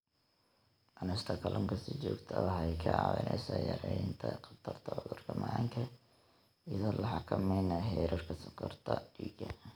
Cunista kalluunka si joogto ah waxay kaa caawinaysaa yaraynta khatarta cudurka macaanka iyadoo la xakameynayo heerarka sonkorta dhiigga.